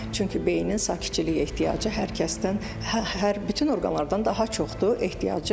Çünki beynin sakitçiliyə ehtiyacı hər kəsdən bütün orqanlardan daha çoxdur ehtiyacı.